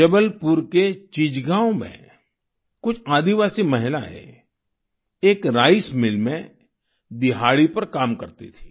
जबलपुर के चिचगांव में कुछ आदिवासी महिलाएं एक राइस मिल में दिहाड़ी पर काम करती थीं